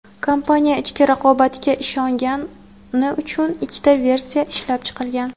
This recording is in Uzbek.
kompaniya "ichki raqobatga ishongani" uchun ikkita versiya ishlab chiqilgan.